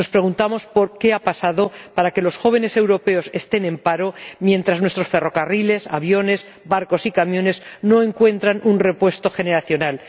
Nos preguntamos qué ha pasado para que los jóvenes europeos estén en paro mientras nuestros ferrocarriles, aviones, barcos y camiones no encuentran un repuesto generacional.